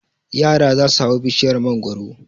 Yara za su hau bishiyar mangwaro.